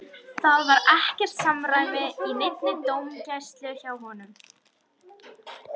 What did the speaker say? Það var ekkert samræmi í neinni dómgæslu hjá honum.